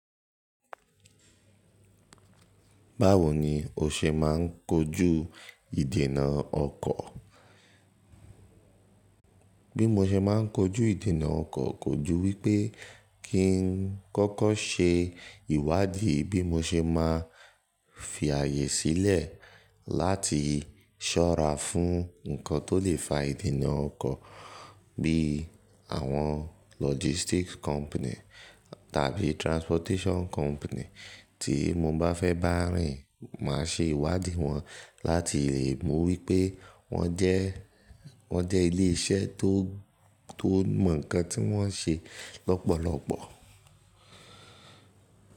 Báwo ni o ṣe máa ń kojú ìdènà ọkọ̀? Bí mo ṣe máa ń kojú ìdènà ọkọ̀, kojú wípé kí n kọ́kọ́ ṣe ìwádìí bí mo ṣe máa fi ààyè sílẹ̀ láti ṣọ́ra fún nǹkan tó lè fa ìdènà ọkọ̀ bí àwọn logistics company tàbí transportation company tí mo bá fẹ́ bá rìn, màá ṣe ìwádìí wọn láti lè mọ̀ wípé wọ́n jẹ́, wọ́n jẹ́ ilé iṣẹ́ tó, tó mọ̀ ǹkan tí wọ́n ń ṣe lọ́pọ̀lọ́pọ̀.